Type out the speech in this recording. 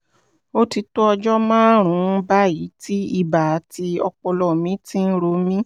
ó ti tó ọjọ́ márùn-ún báyìí tí ibà àti ọpọlọ mi ti ń ro mí